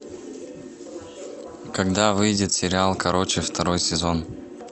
когда выйдет сериал короче второй сезон